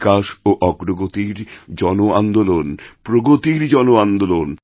বিকাশ ওঅগ্রগতির জন আন্দোলন প্রগতির জন আন্দোলন